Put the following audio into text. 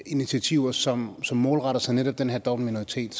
initiativer som som målretter sig netop den her dobbeltminoritet